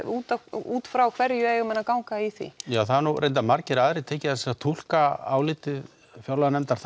útfrá hverju eiga menn að ganga í því ja það hafa margir aðrir tekið og túlkað álitið fjárlaganefndar